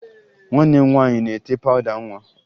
Nwanne m nwaanyị na-ete pawụda nwa